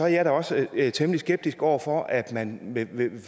jeg da også temmelig skeptisk over for at man vil